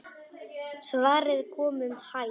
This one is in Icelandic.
Svarið kom um hæl.